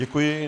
Děkuji.